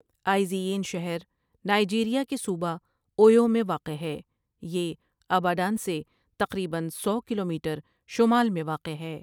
آئزی یِن شہر نائجیریا کے صوبہ اویو میں واقع ہے یہ اباڈان سے تقریبا سو کلومیٹر شمال میں واقع ہے ۔